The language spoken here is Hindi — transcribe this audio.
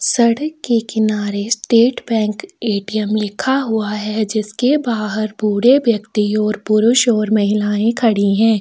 सड़क के किनारे स्टेट बैंक एटीएम् लिखा हुआ है जिसके बाहर बूढ़े व्यक्ति और पुरुष और महिलाएं खड़ी है।